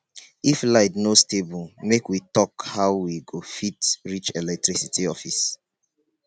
if light no stable make we talk how we go fit reach electricity office.